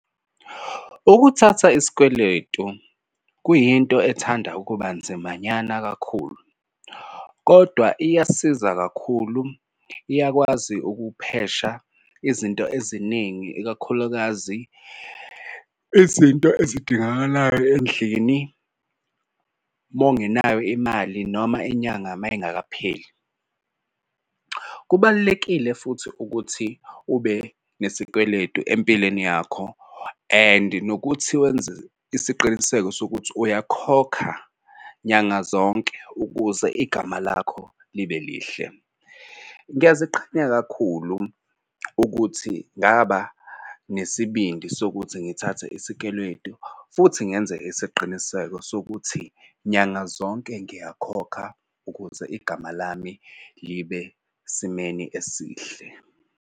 Ukuthatha isikweletu kuyinto ethanda ukuba nzimanyana kakhulu kodwa iyasiza kakhulu. Iyakwazi ukuphesha izinto eziningi ikakhulukazi izinto ezidingakalayo endlini. Mongenayo imali noma inyanga uma ingakapheli. Kubalulekile futhi ukuthi ube nesikweletu empilweni yakho and nokuthi wenze isiqiniseko sokuthi uyakhokha nyanga zonke ukuze igama lakho libe lihle. Ngiyaziqhenya kakhulu ukuthi ngaba nesibindi sokuthi ngithathe isikeletu futhi ngenze isiqiniseko sokuthi nyanga zonke ngiyakhokha ukuze igama lami libe simeni esihle.